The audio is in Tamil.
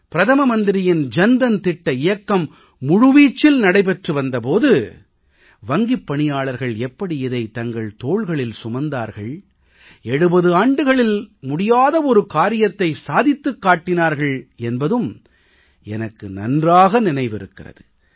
பிரதம மந்திரியின் ஜன் தன் திட்ட இயக்கம் முழுவீச்சில் நடைபெற்று வந்த போது வங்கிப் பணியாளர்கள் எப்படி அதை தங்கள் தோள்களில் சுமந்தார்கள் 70 ஆண்டுகளில் முடியாத ஒரு காரியத்தை சாதித்துக் காட்டினார்கள் என்பதும் எனக்கு நன்றாக நினைவிருக்கிறது